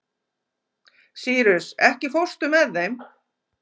Sýrus, ekki fórstu með þeim?